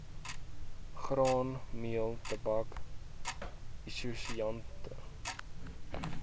graanmeel tabak isosianate